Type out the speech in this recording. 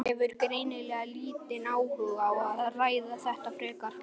Hefur greinilega lítinn áhuga á að ræða þetta frekar.